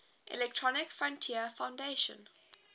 electronic frontier foundation